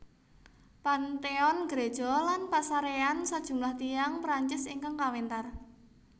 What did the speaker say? Panthéon gereja lan pasaréyan sajumlah tiyang Perancis ingkang kawéntar